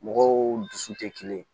Mɔgɔw dusu tɛ kelen ye